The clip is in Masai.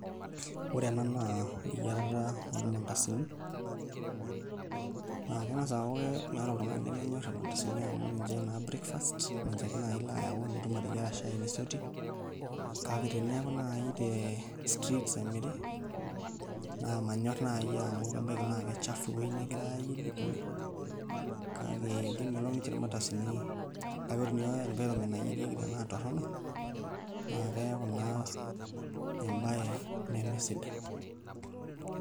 Ore ena naa eyiarata ormandasini naa keng'as aaku meeta oltung'ani lemenyorr irmandasini amu ninche naa breakfast ninche ake naai ilo ayau nitum ateyiara shai nisotie kake teneeku naai te streets emiri naa manyorr naai amu ebaiki naa kachafu ewuei negirai aayierie kake ore environment nagirai aayierie tenaa torrono naa keeku naa embaye nemesidai.